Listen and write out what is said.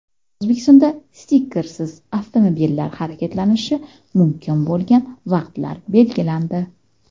O‘zbekistonda stikersiz avtomobillar harakatlanishi mumkin bo‘lgan vaqtlar belgilandi.